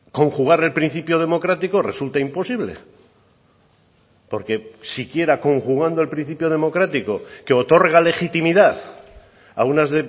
conjugar el principio democrático resulta imposible porque si quiera conjugando el principio democrático que otorga legitimidad a unas